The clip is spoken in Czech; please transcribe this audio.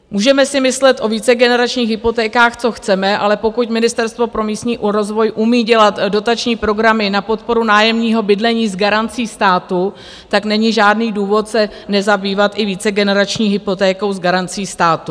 Můžeme si myslet o vícegeneračních hypotékách co chceme, ale pokud Ministerstvo pro místní rozvoj umí dělat dotační programy na podporu nájemního bydlení s garancí státu, tak není žádný důvod se nezabývat i vícegenerační hypotékou s garancí státu.